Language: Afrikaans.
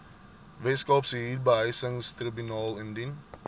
weskaapse huurbehuisingstribunaal indien